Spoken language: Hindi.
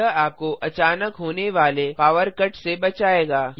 यह आपको अचानक होने वाले पॉवर कट से बचाएगा